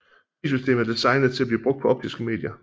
Filsystemet er designet til at blive brugt på optiske medier